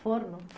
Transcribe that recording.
Forno?